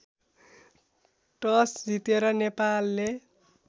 toss जितेर नेपालले